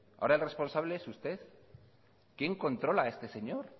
ahora el responsable es usted quién controla a este señor